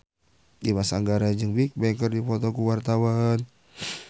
Dimas Anggara jeung Bigbang keur dipoto ku wartawan